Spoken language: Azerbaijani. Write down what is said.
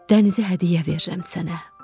Dənizi hədiyyə verirəm sənə.